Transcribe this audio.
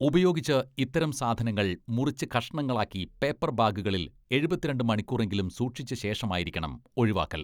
ഉപയോഗിച്ച് ഇത്തരം സാധനങ്ങൾ മുറിച്ച് കഷണങ്ങളാക്കി പേപ്പർ ബാഗുകളിൽ എഴുപത്തിരണ്ട് മണിക്കൂറെങ്കിലും സൂക്ഷിച്ച ശേഷമായിരിക്കണം ഒഴിവാക്കൽ.